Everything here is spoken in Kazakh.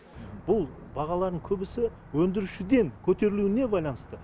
бұл бағалардың көбісі өндірушіден көтерілуіне байланысты